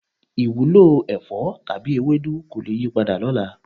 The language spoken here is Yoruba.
Ìwúlò ẹ̀fọ́ tàbí ewédú kò le yípadà lọ́la.